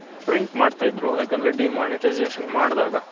print ಮಾಡ್ತಿದ್ರು ಯಾಕಂದ್ರೆ demonetisation ಮಾಡ್ದಾಗ